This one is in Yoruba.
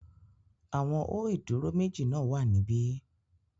Àwọn ó ìdúró méjì náà wà níbí